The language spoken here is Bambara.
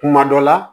Kuma dɔ la